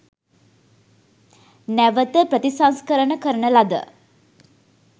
නැවත ප්‍රතිසංස්කරණ කරන ලද